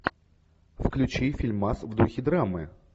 включи фильмас в духе драмы